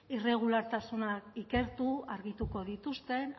irregulartasunak ikertu argituko dituzten